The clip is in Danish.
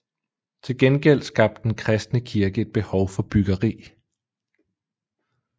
Til gengæld skabte den kristne kirke et behov for byggeri